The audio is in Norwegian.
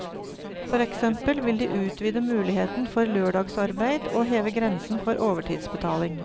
For eksempel vil de utvide muligheten for lørdagsarbeid og heve grensen for overtidsbetaling.